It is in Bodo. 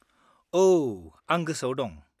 औ, आं गोसोआव दं।